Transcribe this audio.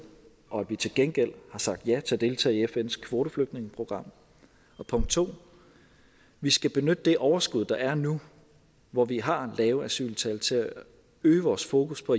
og at vi til gengæld har sagt ja til at deltage i fns kvoteflygtningeprogram punkt 2 vi skal benytte det overskud der er nu hvor vi har lave asyltal til at øge vores fokus på